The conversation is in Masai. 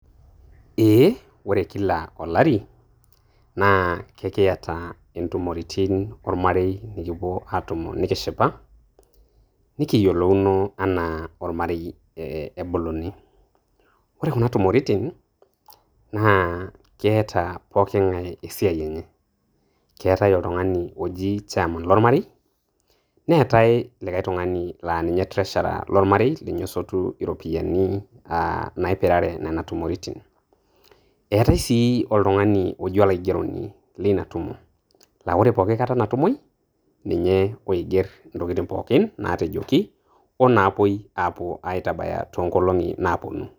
Ee. Ore kila olari, na kekiata intumoritin ormarei nikipuo atumo nikishipa, nikiyiolouno enaa ormarei ebuluni. Ore kuna tumoritin, naa keeta poking'ae esiai enye. Keetae oltung'ani oji chairman lormarei, neetae likae tung'ani la ninye treasurer lormarei, ninye osotu iropiyiani naipirare nena tumoritin. Eetae si oltung'ani oji olaigeroni lina tumo. La ore pooki kata natumoi, ninye oiger intokiting' pookin naatejoki o naapoi apuo aitabaya tonkolong'i naponu.